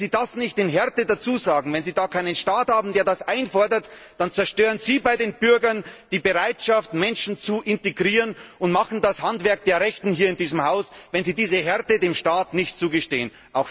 Und wenn Sie das nicht in Härte dazusagen, wenn Sie da keinen Staat haben, der das einfordert, dann zerstören Sie bei den Bürgern die Bereitschaft, Menschen zu integrieren, und machen das Handwerk der Rechten hier in diesem Haus, wenn Sie diese Härte dem Staat nicht zugestehen.